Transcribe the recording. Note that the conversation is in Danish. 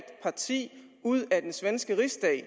parti ud af den svenske rigsdag